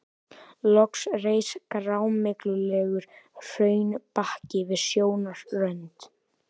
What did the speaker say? Loks reis grámyglulegur hraunbakki við sjónarrönd.